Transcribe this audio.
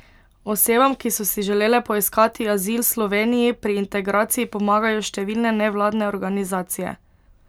Osebam, ki so si želele poiskati azil Sloveniji pri integraciji pomagajo številne nevladne organizacije.